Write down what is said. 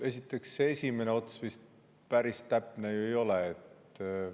Esiteks, see esimene ots vist päris täpne ei ole.